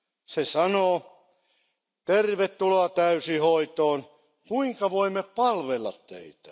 Se sanoo Tervetuloa täysihoitoon, kuinka voimme palvella teitä?.